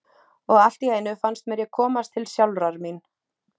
Og allt í einu fannst mér ég komast til sjálfrar mín.